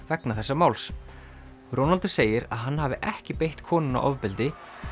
vegna þessa máls Ronaldo segir að hann hafi ekki beitt konuna ofbeldi